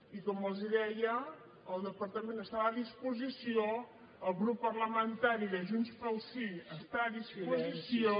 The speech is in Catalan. i com els deia el departament està a disposició el grup parlamentari de junts pel sí està a disposició